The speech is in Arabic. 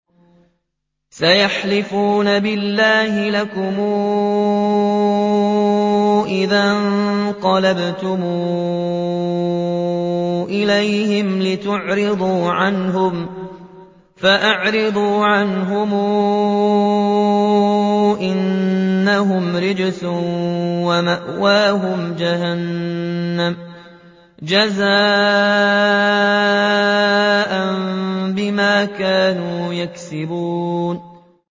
سَيَحْلِفُونَ بِاللَّهِ لَكُمْ إِذَا انقَلَبْتُمْ إِلَيْهِمْ لِتُعْرِضُوا عَنْهُمْ ۖ فَأَعْرِضُوا عَنْهُمْ ۖ إِنَّهُمْ رِجْسٌ ۖ وَمَأْوَاهُمْ جَهَنَّمُ جَزَاءً بِمَا كَانُوا يَكْسِبُونَ